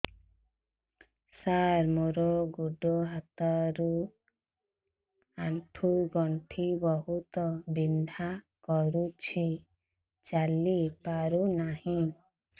ସାର ମୋର ଗୋଡ ହାତ ର ଆଣ୍ଠୁ ଗଣ୍ଠି ବହୁତ ବିନ୍ଧା କରୁଛି ଚାଲି ପାରୁନାହିଁ